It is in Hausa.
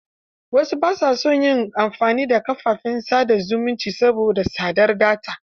Wasu ba sa son yin amfani da kafafen sa da zumunta saboda tsadar data.